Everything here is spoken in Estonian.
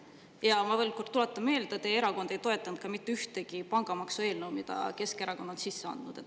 Ma tuletan veel kord meelde, et teie erakond ei ole toetanud ka mitte ühtegi pangamaksu eelnõu, mille Keskerakond on sisse andnud.